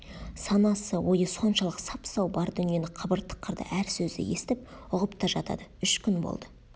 санасы ойы соншалық сап-сау бар дүниені қыбыр-тықырды әр сөзді естіп ұғып та жатады үш күн болды